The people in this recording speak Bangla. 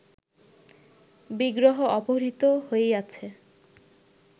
বিগ্রহ অপহৃত হইয়াছে